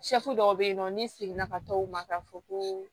dɔw bɛ yen nɔ ni seginna ka taa o ma ka fɔ ko